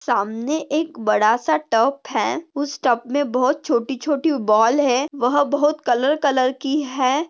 सामने एक बडा सा टब है। उस टब मे बहुत छोटी छोटी बॉल है। वह बहुत कलर कलर की है।